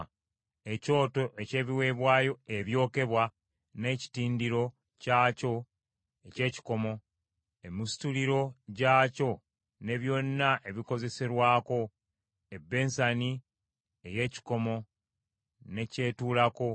ekyoto eky’ebiweebwayo ebyokebwa n’ekitindiro kyakyo eky’ekikomo; emisituliro gyakyo ne byonna ebikozeserwako; ebbensani ey’ekikomo ne ky’etuulako;